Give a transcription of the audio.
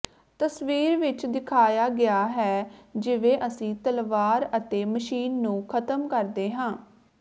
ਤਸਵੀਰ ਵਿਚ ਦਿਖਾਇਆ ਗਿਆ ਹੈ ਜਿਵੇਂ ਅਸੀਂ ਤਲਵਾਰ ਅਤੇ ਮਸ਼ੀਨ ਨੂੰ ਖਤਮ ਕਰਦੇ ਹਾਂ